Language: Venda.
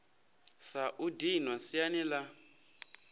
sa u dinwa siani la